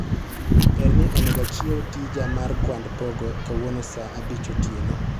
perni onego achiew tija mar kwand pogo kawuono saa abich otieno